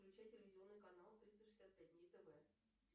включи телевизионный канал триста шестьдесят пять дней тв